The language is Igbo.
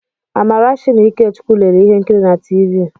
Amarachi na Ikechukwu lere ihe nkiri na tiivi.